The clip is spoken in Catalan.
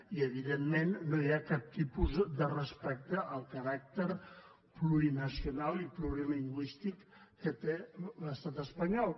i evidentment no hi ha cap tipus de respecte al caràcter plurinacional i plurilingüístic que té l’estat espanyol